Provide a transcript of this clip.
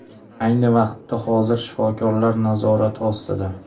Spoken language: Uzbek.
Ayni vaqtda vazir shifokorlar nazorati ostida.